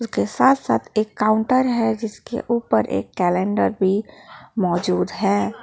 के साथ साथ एक काउंटर है जिसके ऊपर एक कैलेंडर भी मौजूद है।